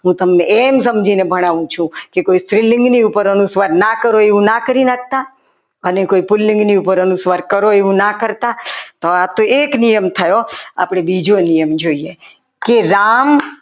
હું તમને એમ સમજીને ભણાવું છું કે કોઈ સ્ત્રીલિંગની ઉપર અનુસ્વાર ના કરો એમ ના કરી નાખતા અને કોઈ પુલ્લિંગ ની ઉપર કરો એવું ના કરતા આ તો એક નિયમ થયો આપણે બીજો નિયમ જોઈએ કે રામ